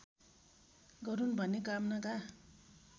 गरून् भन्ने कामनाका